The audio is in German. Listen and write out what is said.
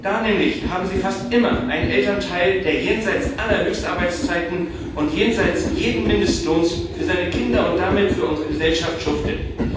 Da nämlich haben Sie fast immer einen Elternteil, der jenseits aller Höchstarbeitszeiten und jenseits jeden Mindestlohns für seine Kinder und damit für unsere Gesellschaft schuftet.